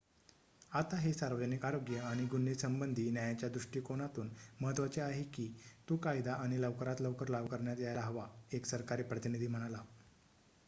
"""आता हे सार्वजनिक आरोग्य आणि गुन्हे संबधी न्यायाच्या दृष्टीकोनातून महत्वाचे आहे की तो कायदा आता लवकरात लवकर लागू करण्यात यायला हवा," एक सरकारी प्रतिनिधी म्हणाला.